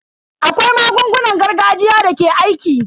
Akwai magungunan gargajiya da ke aiki.